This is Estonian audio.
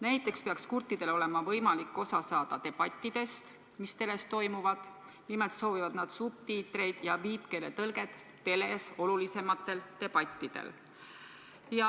Näiteks peaks kurtidel olema võimalik osa saada debattidest, mis teles toimuvad, nimelt soovivad nad subtiitreid ja viipekeele tõlget teles olulisematel debattidel.